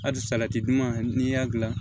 Hali salati duman n'i y'a dilan